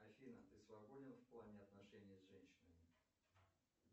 афина ты свободен в плане отношений с женщинами